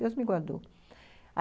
Deus me guardou.